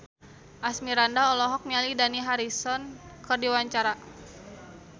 Asmirandah olohok ningali Dani Harrison keur diwawancara